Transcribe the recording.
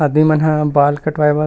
आदमी मन हा बाल कटवाय बर--